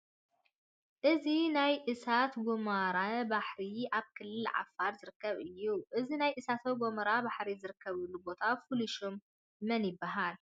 እዚ ናይ እሳተ ጐመራ ባሕሪ ኣብ ክልል ዓፋር ዝርከብ እዩ፡፡ እዚ ናይ እሳተ ጐመራ ባሕሪ ዝርከበሉ ቦታ ፍሉይ ሽሙ መን ይበሃል?